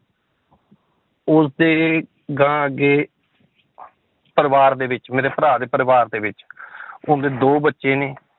ਉਸਦੇ ਅਗਾਂਹ ਅੱਗੇ ਪਰਿਵਾਰ ਦੇ ਵਿੱਚ ਮੇਰੇ ਭਰਾ ਦੇ ਪਰਿਵਾਰ ਦੇ ਵਿੱਚ ਉਸਦੇ ਦੋ ਬੱਚੇ ਨੇ